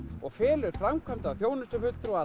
og felur framkvæmda og þjónustufulltrúa